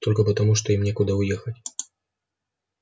только потому что им некуда уехать